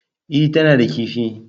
E, tana da kaifi.